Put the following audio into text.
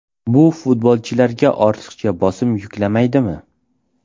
Bu futbolchilarga ortiqcha bosim yuklamaydimi?